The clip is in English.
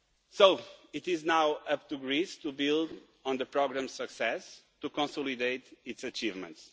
So, it is now up to Greece to build on the programme's success and to consolidate its achievements.